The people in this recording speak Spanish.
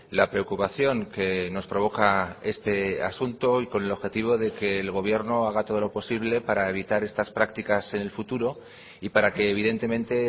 la preocupación que nos provoca este asunto y con el objetivo de que el gobierno haga todo lo posible para evitar estas prácticas en el futuro y para que evidentemente